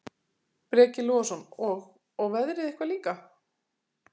Breki Logason: Og, og veðrið eitthvað líka?